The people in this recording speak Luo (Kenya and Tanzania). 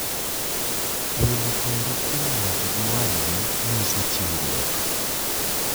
Wilo teru kuom ng'ato gi wadgi nyiso chiwruok.